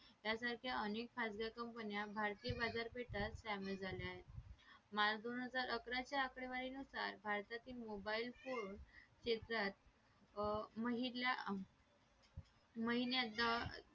यासारख्या अनेक खाजगी company भारतातील बाजारपेठा द्यावेत झाल्या आहेत माल दोन हजार आकरा च्या आकडेनुसार भारतातील मोबाईल फोन क्षेत्रात महिना